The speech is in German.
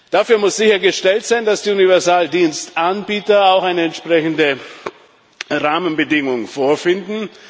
Dafür muss sichergestellt sein, dass die Universaldienstanbieter auch entsprechende Rahmenbedingungen vorfinden.